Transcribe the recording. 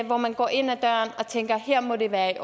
hvor man går ind ad døren og tænker her må det være i